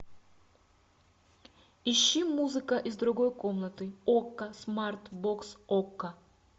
ищи музыка из другой комнаты окко смарт бокс окко